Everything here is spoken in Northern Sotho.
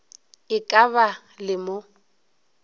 e ka ba le mo